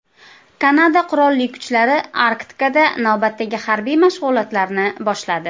Kanada Qurolli kuchlari Arktikada navbatdagi harbiy mashg‘ulotlarni boshladi.